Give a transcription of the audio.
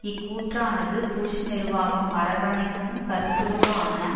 இக்கூற்றானது Bush நிர்வாகம் அரவணைக்கும் கருத்துருவான